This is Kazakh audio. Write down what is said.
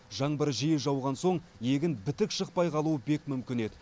жаңбыр жиі жауған соң егін бітік шықпай қалуы бек мүмкін еді